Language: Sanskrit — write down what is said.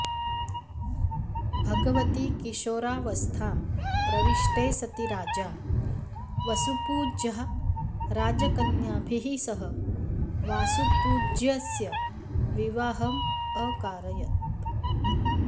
भगवति किशोरावस्थां प्रविष्टे सति राजा वसुपूज्यः राजकन्याभिः सह वासुपूज्यस्य विवाहम् अकारयत्